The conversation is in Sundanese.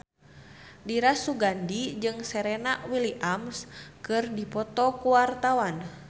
Dira Sugandi jeung Serena Williams keur dipoto ku wartawan